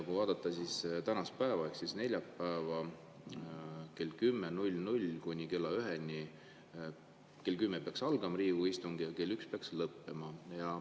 Kui vaadata tänast päeva ehk neljapäeva, siis on siin nii, et kell kümme peaks algama Riigikogu istung ja kell üks peaks see lõppema.